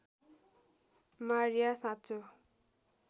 Maria साँचो